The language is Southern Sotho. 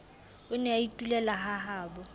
o ne a itulela hahabo